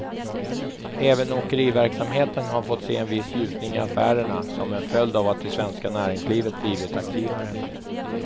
Även åkeriverksamheten har fått se en viss ljusning i affärerna, som en följd av att det svenska näringslivet blivit aktivare.